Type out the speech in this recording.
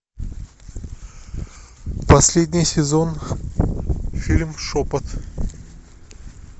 последний сезон фильм шепот